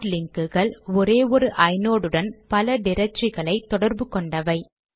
heart லிங்க்குகள் ஒரே ஒரு ஐநோட் உடன் பல ட்ரக்டரிகளை தொடர்பு கொண்டவை